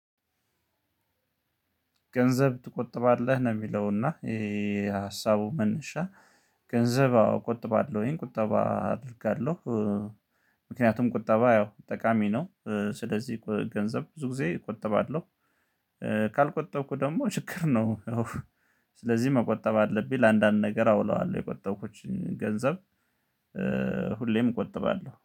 ገንዘብ ትቆጥባለህ ነው? የሚለውና ይሄ ሀሳቡ መነሻ ገንዘብ አዎ ቆጥባለሁኝ ቁጠባ አደርጋለሁ። ምክንያቱም ቁጠባ ያው ጠቃሚ ነው። ስለዚህ ገንዘብ ብዙ ጊዜ እቆጥባለሁ። ካልቆጠብኩ ደግሞ ችግር ነው። ያው ስለዚህ መቆጠብ አለብኝ። ለአንዳንድ ነገር አውለዋለሁ የቆጠብኩትን ገንዘብ። ሁሌም እቆጥባለሁ